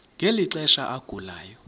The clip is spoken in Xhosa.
ngeli xesha agulayo